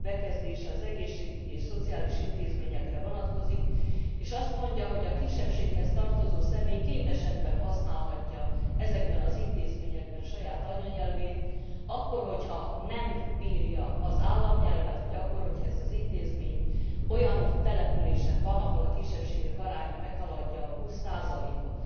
4. bekezdése az egészségügyi és szociális intézményekre vonatkozik, és azt mondja, hogy a kisebbséghez tartozó személy két esetben használhatja ezekben az intézményekben saját anyanyelvét akkor, ha nem beszéli az államnyelvet, vagy akkor, ha ez az intézmény olyan településen van, ahol a kisebbségek aránya meghaladja a 20 ot.